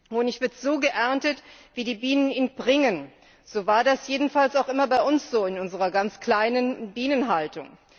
Honig wird so geerntet, wie die Bienen ihn bringen. So war das jedenfalls immer bei uns, in unserer ganz kleinen Bienenhaltung.